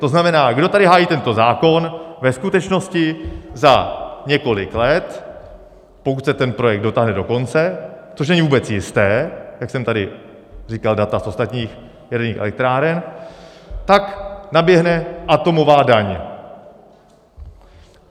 To znamená, kdo tady hájí tento zákon, ve skutečnosti za několik let, pokud se ten projekt dotáhne do konce, což není vůbec jisté, jak jsem tady říkal data z ostatních jaderných elektráren, tak naběhne atomová daň.